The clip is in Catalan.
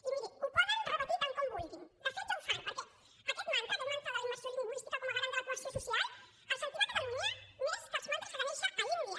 i miri ho poden repetir tant com vulguin de fet ja ho fan perquè aquest mantra aquest mantra de la immersió lingüística com a garant de la cohesió social el sentim a catalunya més que els mantres a ganeixa a l’índia